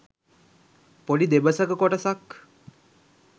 පොඩි දෙබසක කොටසක්